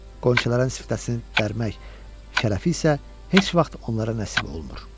Qönçələrin siftəsini dərmək şərəfi isə heç vaxt onlara nəsib olmur.